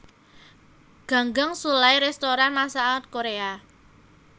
Ganggang Sullai restoran masakan Korea